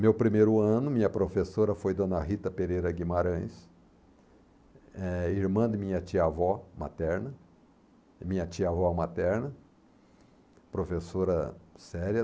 Meu primeiro ano, minha professora foi Dona Rita Pereira Guimarães, eh, irmã de minha tia-avó materna, minha tia-avó materna, professora séria.